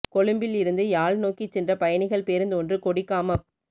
கொழும்பில் இருந்து யாழ் நோக்கிச் சென்ற பயணிகள் பேருந்து ஒன்று கொடிகாமப்